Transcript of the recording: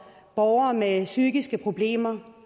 borgere med psykiske problemer